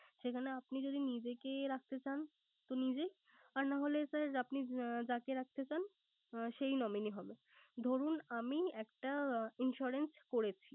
সেখানে আপনি যদি নিজেকে রাখতে চান তো নিজে। আর না হলে sir আপনি যাকে রাখতে চান সেই nominee হবে। ধরুন আমি একটা insurance করেছি।